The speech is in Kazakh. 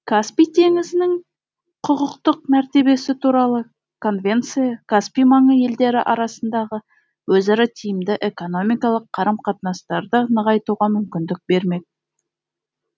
каспий теңізінің құқықтық мәртебесі туралы конвенция каспий маңы елдері арасындағы өзара тиімді экономикалық қарым қатынастарды нығайтуға мүмкіндік бермек